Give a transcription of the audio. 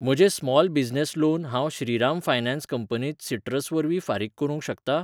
म्हजें small business loan हांव Shriram finance कंपनींत सिट्रस वरवीं फारीक करूंक शकतां?